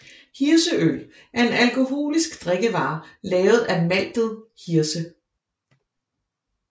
Hirseøl er en alkoholisk drikkevare lavet af maltet hirse